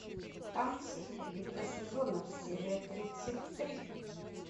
танцы битва сезонов серия тридцать три